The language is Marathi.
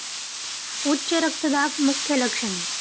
उच्च रक्तदाब मुख्य लक्षणे